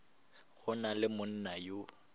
go na le monna yo